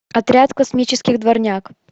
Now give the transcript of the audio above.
отряд космических дворняг